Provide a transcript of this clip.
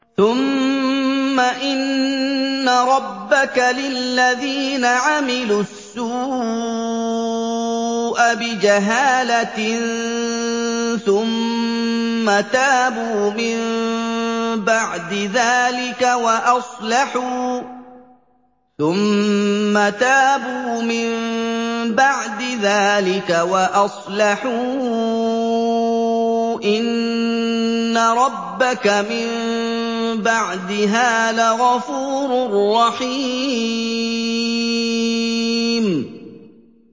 ثُمَّ إِنَّ رَبَّكَ لِلَّذِينَ عَمِلُوا السُّوءَ بِجَهَالَةٍ ثُمَّ تَابُوا مِن بَعْدِ ذَٰلِكَ وَأَصْلَحُوا إِنَّ رَبَّكَ مِن بَعْدِهَا لَغَفُورٌ رَّحِيمٌ